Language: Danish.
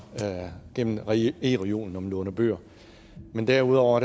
gennem e reolen når man låner bøger men derudover